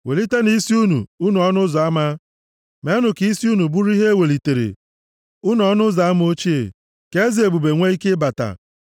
Welitenụ isi unu, unu ọnụ ụzọ ama, meenụ ka isi unu bụrụ ihe e welitere, unu ọnụ ụzọ ama ochie, ka eze ebube nwee ike ịbata.